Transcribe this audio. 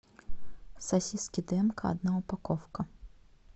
сосиски дымка одна упаковка